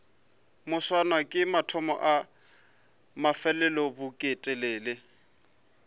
moswane ke mathomo a mafelelobeketelele